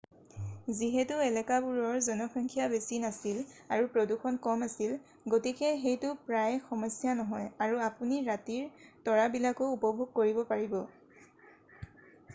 যিহেতু এলেকাবোৰৰ জনসংখ্যা বেছি নাছিল আৰু প্ৰদূষণ কম আছিল গতিকে সেইটো প্ৰায় সমস্যা নহয় আৰু আপুনি ৰাতিৰ তৰাবিলাকো উপভোগ কৰিব পাৰিব